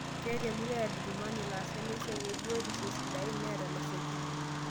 Ketaa e murua e Adjumani laasak lesia ebiotisho sidain neeta losekin